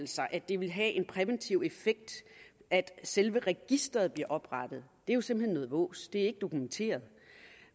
sig at det ville have en præventiv effekt at selve registeret bliver oprettet er jo simpelt hen noget vås det er ikke dokumenteret